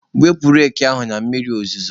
Wepụta reki ahụ na mmiri ozuzo!.